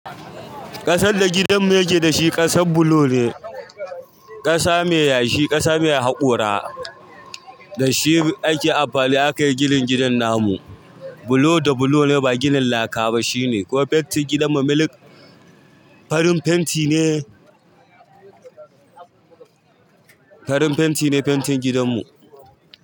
Ƙasar da gidan mu yake dashi ƙasar bulo ne, ƙasa mai yashi, ƙasa mai haƙora. Da shi ake amfani aka yi ginin gidan namu bulo da bulo ne ba ginin laka ba shine. Kowa fentin gidan mu miliki farin fenti ne, farin fenti ne fentin gidan mu.